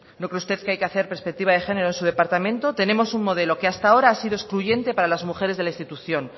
no cree usted que hay que hacer perspectiva de género en su departamento tenemos un modelo que hasta ahora ha sido excluyente para las mujeres de la institución